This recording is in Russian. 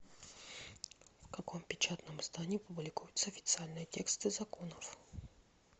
в каком печатном издании публикуются официальные тексты законов